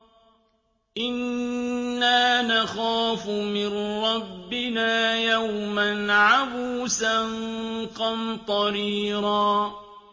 إِنَّا نَخَافُ مِن رَّبِّنَا يَوْمًا عَبُوسًا قَمْطَرِيرًا